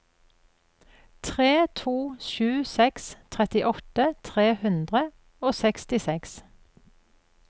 tre to sju seks trettiåtte tre hundre og sekstiseks